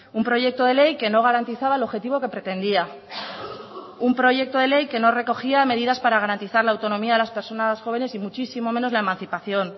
un proyecto de ley que no garantizaba el objetivo que pretendía un proyecto de ley que no recogía medidas para garantizar la autonomía de las personas jóvenes y muchísimo menos la emancipación